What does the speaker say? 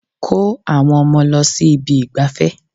Kó àwọn ọmọ lọ sí ibi ìgbafẹ́.